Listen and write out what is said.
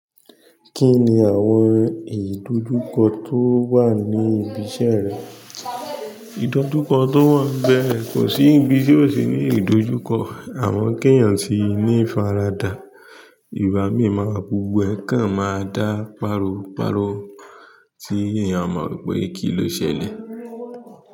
Kí ni àwọn ìdojúkọ tó wà ní ibi iṣẹ́ rẹ? Ìdojúkọ tó wà ń bẹ́ẹ̀ kò sí ibi tí ò sí ní ìdojúkọ. Àmọ́ kéyàn tí ní faradà, ìbá mi máa gbogbo ẹ̀ kàn máa dá páro páro tí èèyàn ó máa rò pé kí ló ṣẹlẹ̀.